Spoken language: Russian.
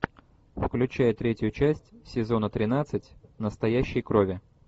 включай третью часть сезона тринадцать настоящей крови